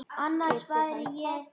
Getur hann tapað!